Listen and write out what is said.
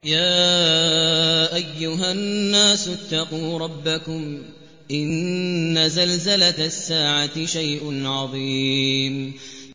يَا أَيُّهَا النَّاسُ اتَّقُوا رَبَّكُمْ ۚ إِنَّ زَلْزَلَةَ السَّاعَةِ شَيْءٌ عَظِيمٌ